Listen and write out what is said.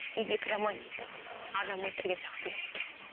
үйге кіре алмаймын адам өлтірген сияқтымын